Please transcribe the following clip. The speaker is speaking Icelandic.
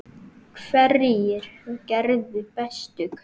Hverjir gerðu bestu kaupin?